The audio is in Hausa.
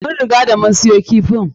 Mun riga da mun siyo kifin.